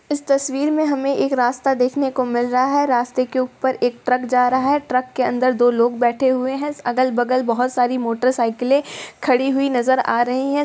इस तस्वीर में हमें एक रास्ता देखने को मिल रहा है रास्ते के ऊपर एक ट्रक जा रहा है ट्रक के अंदर दो लोग बैठे हुए हैं अगल-बगल बहुत सारी मोटरसाइकिले खड़ी हुई नजर आ रही है।